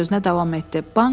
məmur sözünə davam etdi.